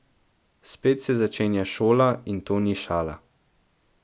Spet se začenja šola in to ni šala.